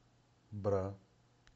бра